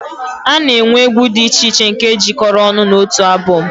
A na-enwe egwu dị iche iche nke e jikọrọ ọnụ n'otu abọm